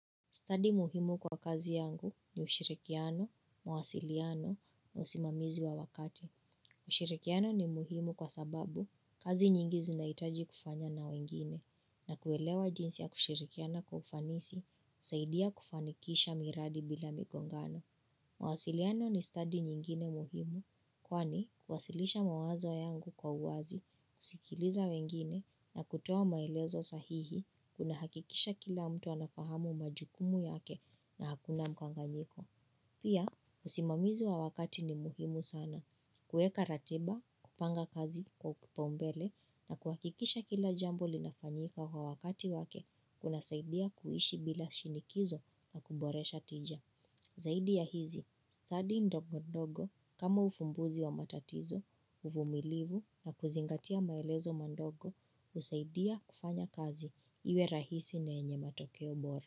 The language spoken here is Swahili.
Stadi muhimu kwa kazi yangu ni ushirikiano, mawasiliano, na usimamizi wa wakati. Ushirikiano ni muhimu kwa sababu kazi nyingi zinaitaji kufanya na wengine, na kuelewa jinsi ya kushirikiana kwa ufanisi, husaidia kufanikisha miradi bila migongano. Mawasiliano ni study nyingine muhimu, kwani huwasilisha mawazo yangu kwa uwazi, kusikiliza wengine na kutoa maelezo sahihi kuna hakikisha kila mtu anafahamu majukumu yake na hakuna mkanganyiko Pia, usimamizi wa wakati ni muhimu sana kueka ratiba, kupanga kazi kwa kipaumbele na kuhakikisha kila jambo linafanyika kwa wakati wake Kuna saidia kuishi bila shinikizo na kuboresha tija Zaidi ya hizi, study ndogo ndogo kama ufumbuzi wa matatizo, uvumilivu na kuzingatia maelezo madogo husaidia kufanya kazi iwe rahisi na yenye matokeo bora.